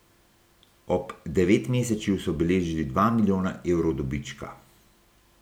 Ob devetmesečju so beležili dva milijona evrov dobička.